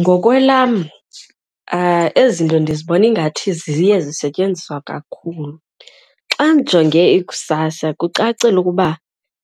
Ngokwelam ezi zinto ndizibona ingathi ziye zisetyenziswa kakhulu. Xa ndijonge ikusasa kucacile ukuba